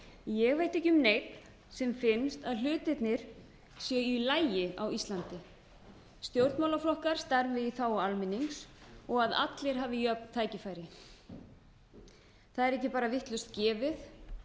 ég veit ekki um neinn sem finnst að hlutirnir séu í lagi á íslandi stjórnmálaflokkar starfi í þágu almennings og að allir hafi jöfn tækifæri það er ekki bara vitlaust gefið